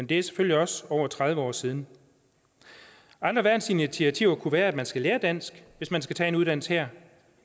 det er selvfølgelig også over tredive år siden andre værnsinitiativer kunne være at man skal lære dansk hvis man skal tage en uddannelse her